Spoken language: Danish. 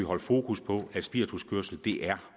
holde fokus på at spirituskørsel er